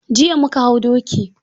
Jiya mu ka hau doki.